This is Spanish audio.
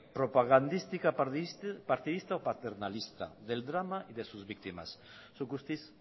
propagandística partidista o paternalista del drama y de sus víctimas zuk guztiz